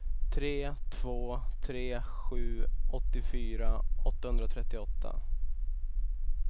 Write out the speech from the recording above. tre två tre sju åttiofyra åttahundratrettioåtta